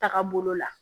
Taga bolo la